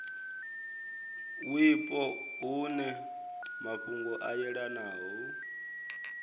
wipo hune mafhungo a yelanaho